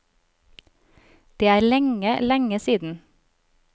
Det er lenge, lenge siden.